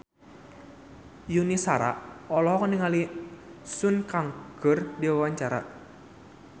Yuni Shara olohok ningali Sun Kang keur diwawancara